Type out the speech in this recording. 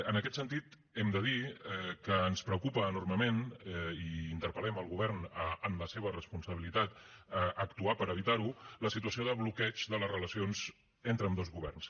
en aquest sentit hem de dir que ens preocupa enormement i interpel·lem el govern en la seva responsabilitat a actuar per evitar ho la situació de bloqueig de les relacions entre ambdós governs